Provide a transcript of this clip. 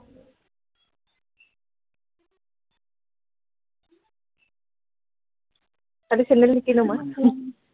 আজি চেণ্ডেল নিকিনো মই